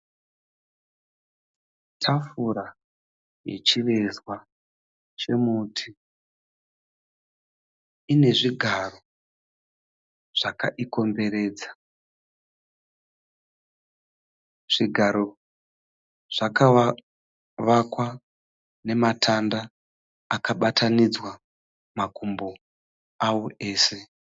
Tafura yechivezwa chemuti ine zvigaro zvakaikomberedza. Zvigaro zvakavakwa namatanda akabatanidzwa makumbo awo ese.